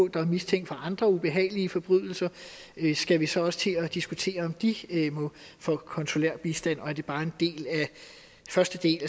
der er mistænkt for andre ubehagelige forbrydelser skal vi så også til at diskutere om de må få konsulær bistand og er det bare første del af